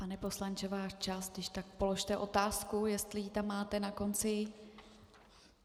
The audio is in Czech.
Pane poslanče, váš čas, když tak položte otázku, jestli ji tam máte na konci.